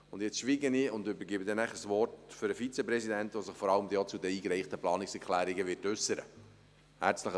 Nun schweige ich und übergebe danach das Wort dem Vizepräsidenten, der sich vor allem auch zu den eingereichten Planungserklärungen äussern wird.